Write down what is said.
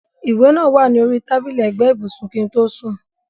ìwé náà wà ní orí tábìlì ẹ̀gbẹ́ ibùsùn kí n tó sùn.